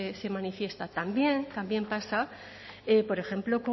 se manifiesta también pasa por ejemplo